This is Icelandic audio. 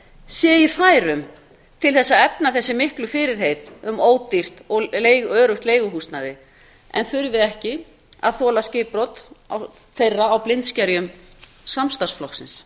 sé í færum til að efna þessi miklu fyrirheit um ódýrt og öruggt leiguhúsnæði en þurfi ekki að þola skipbrot þeirra á blindskerjum samstarfsflokksins